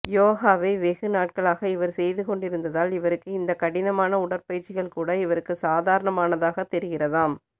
யோகாவை வெகுநாட்களாக இவர் செய்து கொண்டிருந்ததால் இவருக்கு இந்த கடினமான உடற்பயிற்சிகள் கூட இவருக்கு சாதரணமாக தெரிக்கிறதாம்